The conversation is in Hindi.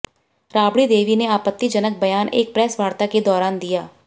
राबड़ी देवी ने आपतिजनक बयान एक प्रेस वार्ता के दौरान दिया